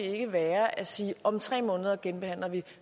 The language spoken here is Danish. ikke være at sige om tre måneder genbehandler vi